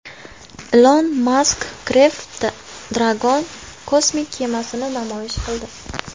Ilon Mask Crew Dragon kosmik kemasini namoyish qildi.